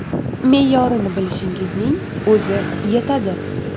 Me’yorini bilishingizning o‘zi yetadi!